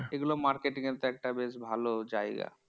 এগুলো marketing এর দায়িত্বে থাকবে বেশ ভালো জায়গা।